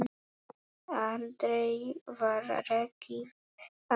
Aldrei var rekið á eftir.